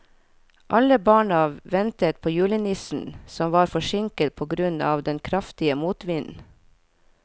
Alle barna ventet på julenissen, som var forsinket på grunn av den kraftige motvinden.